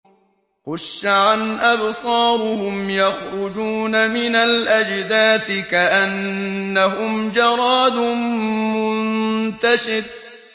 خُشَّعًا أَبْصَارُهُمْ يَخْرُجُونَ مِنَ الْأَجْدَاثِ كَأَنَّهُمْ جَرَادٌ مُّنتَشِرٌ